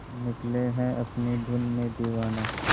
निकले है अपनी धुन में दीवाना